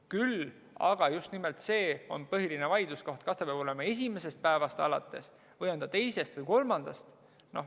Küll aga on põhiline vaidluskoht see, kas hüvitama peab esimesest päevast alates või teisest või kolmandast.